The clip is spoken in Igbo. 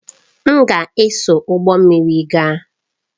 M ga-eso ụgbọ mmiri gaa